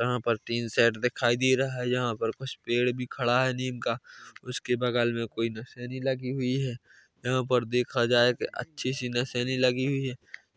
यहाँ पर tin shed दिखाय दे रहा है यहाँ कुछ पेड़ भी खड़ा है नीम का उसके बगल मे कोई निसेनी लगी हुई है यहाँ पर देखा जाय अछि सी नसेनी लगी हुई है